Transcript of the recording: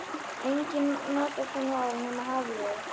Enginn notaði svona orð nema Hafliði.